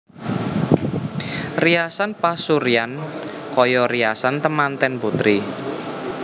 Riasan pasuryan kaya riasan temanten putri